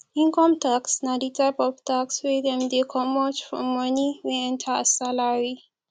income tax na di type of tax wey dem dey comot form money wey enter as salary